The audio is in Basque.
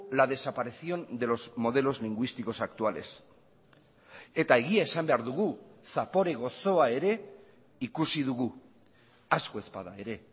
la desaparición de los modelos lingüísticos actuales eta egia esan behar dugu zapore goxoa ere ikusi dugu asko ez bada ere